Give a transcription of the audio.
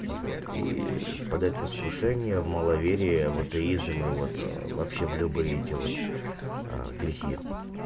вот и впадают в искушение в маловерие в атеизм и вот вообще в любый эти вот грехи